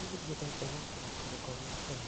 Niĩ ndiendete gũũkĩra kĩroko gĩa tene